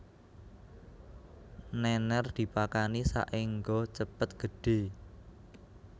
Nènèr dipakani saéngga cepet gedhé